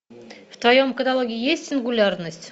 в твоем каталоге есть сингулярность